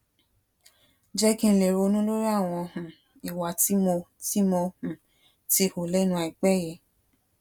jé kí n lè ronú lórí àwọn um ìwà tí mo tí mo um ti hù lénu àìpé yìí